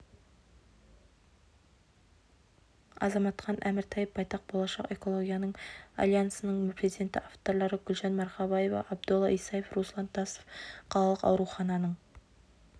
азаматхан әміртаев байтақ болашақ экологиялық альянсының президенті авторлары гүлжан марқабаева абдолла исаев руслан тасов қалалық аурухананың